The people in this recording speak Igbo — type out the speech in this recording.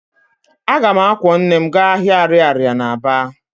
Aga m akwọ nne m gaa ahịa ariaria na Aba